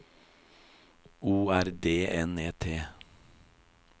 O R D N E T